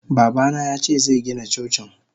Babana yace zegina Cocin.